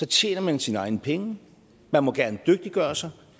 tjener man sine egne penge man må gerne dygtiggøre sig